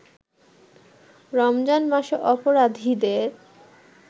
রমজান মাসে অপরাধীদের